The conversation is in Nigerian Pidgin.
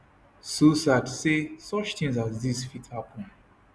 so sad say such tins as dis fit happen